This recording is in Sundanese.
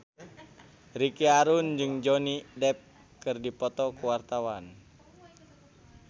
Ricky Harun jeung Johnny Depp keur dipoto ku wartawan